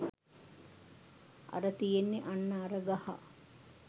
අර තියෙන්නෙ අන්න අර ගහ